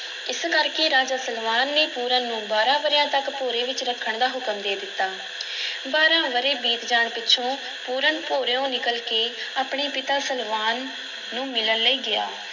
ਇਸ ਕਰ ਕੇ ਰਾਜਾ ਸਲਵਾਨ ਨੇ ਪੂਰਨ ਨੂੰ ਬਾਰਾਂ ਵਰ੍ਹਿਆਂ ਤੱਕ ਭੋਰੇ ਵਿੱਚ ਰੱਖਣ ਦਾ ਹੁਕਮ ਦੇ ਦਿੱਤਾ ਬਾਰਾਂ ਵਰ੍ਹੇ ਬੀਤ ਜਾਣ ਪਿੱਛੋਂ ਪੂਰਨ ਭੋਰਿਉਂ ਨਿਕਲ ਕੇ ਆਪਣੇ ਪਿਤਾ ਸਲਵਾਨ ਨੂੰ ਮਿਲਨ ਲਈ ਗਿਆ।